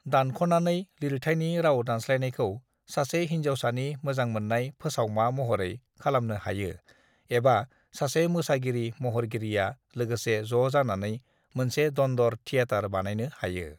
दानख'नानै लिरथाइनि राव-दानस्लायनायखौ सासे हिनजावसानि मोजांमोननाय फोसावमा महरै खालामनो हायो एबा सासे मोसागिरि- महरगिरिआ लोगोसे ज' जानानै मोनसे दन्द'र थिऐटार बानायनो हायो।